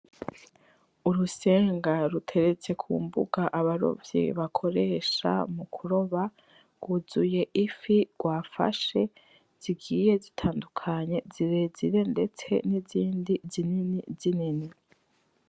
Urusenga ruteretse kumbuga abarovyi bakoresha mukuroba rwuzuye ifi rwafashe zigiye zitandukanye , zirezire ndetse nizindi zinini .